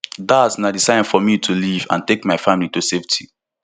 dat na di sign for me to leave and take my family to safety